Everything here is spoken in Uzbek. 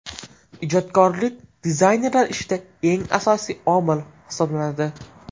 Ijodkorlik dizaynerlar ishida eng asosiy omil hisoblanadi.